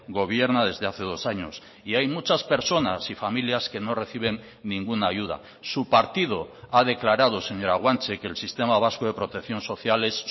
gobierna desde hace dos años y hay muchas personas y familias que no reciben ninguna ayuda su partido ha declarado señora guanche que el sistema vasco de protección social es